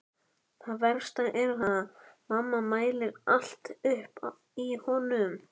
Það versta er að mamma mælir allt upp í honum.